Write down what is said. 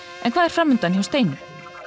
en hvað er framundan hjá Steinu